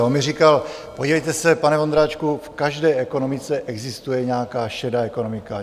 A on mi říkal, podívejte se, pane Vondráčku, v každé ekonomice existuje nějaká šedá ekonomika.